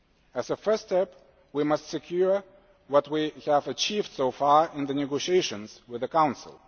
As a first step we must secure what we have achieved so far in the negotiations with the Council.